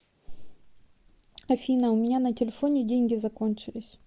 афина у меня на телефоне деньги закончились